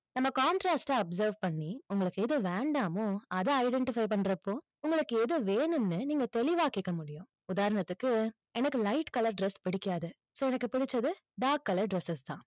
நம்ம contrast ட observe பண்ணி, உங்களுக்கு எது வேண்டாமோ, அதை identify பண்றப்போ, உங்களுக்கு எது வேணும்னு நீங்க தெளிவாக்கிக்க முடியும். உதாரணத்துக்கு எனக்கு light color dress பிடிக்காது so எனக்கு பிடிச்சது dark color dresses தான்.